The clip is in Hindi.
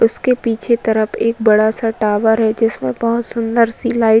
उसके पीछे तरप एक बडा सा टॉवर है जिसमें बहोत सुंदर सी लाइ --